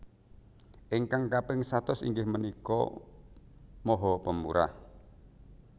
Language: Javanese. Ingkang kaping satus inggih menika maha pemurah